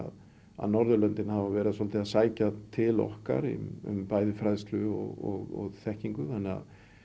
að Norðurlöndin hafa verið svolítið að sækja til okkar um bæði fræðslu og þekkingu þannig að